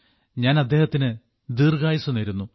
ഞാൻ അദ്ദേഹത്തിന് ദീർഘായുസ്സ് നേരുന്നു